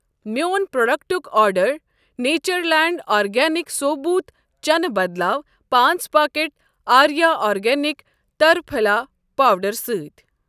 میٛون پروڈکٹُک آرڈ نیچرلینٛڈ آرگینِکس ثوبوٗت چنہٕ بدلاو پانٛژ پاکٮ۪ٹ آریٖا آرگینِک ترٛپھلا پاوڈر سۭتۍ۔